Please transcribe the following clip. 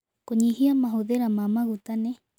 Kũnyũhĩa mahũthĩra ma magũta nĩ